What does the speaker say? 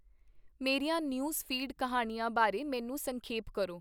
ਮੇਰੀਆਂ news feed ਕਿਹਾਣੀਆਂ ਬਾਰੇ ਮੈਨੂੰ ਸੰਖੇਪ ਕਰੋ